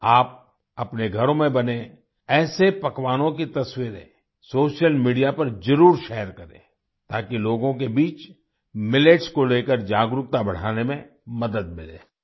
आप अपने घरों में बने ऐसे पकवानों की तस्वीरे सोशल मीडिया पर जरुर शेयर करें ताकि लोगों के बीच मिलेट्स को लेकर जागरूकता बढ़ाने में मदद मिले